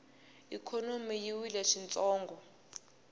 ikhonomi yi wile swintsongo